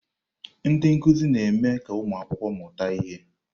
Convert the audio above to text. Ndị nkuzi na-eme ka ụmụ akwụkwọ mụta ihe.